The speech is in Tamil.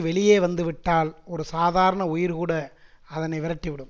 வெளியே வந்து விட்டால் ஒரு சாதாரண உயிர்கூட அதனை விரட்டி விடும்